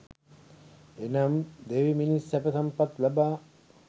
එනම් දෙවි මිනිස් සැප සම්පත් ලබා